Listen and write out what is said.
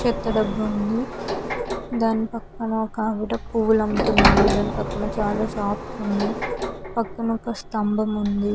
చేత డబ్బా ఉంది. దాని పక్కన ఒకావిడ పూలు అమ్ముతున్నారు. దాని పక్కన చాలా షాప్స్ ఉన్నాయ్. పక్కన ఒక స్తంభం ఉంది.